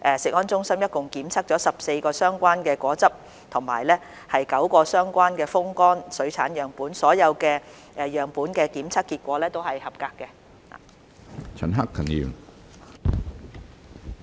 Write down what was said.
度，食安中心共監測了14個相關果汁和9個相關風乾水產樣本，所有樣本的檢測結果都是合格。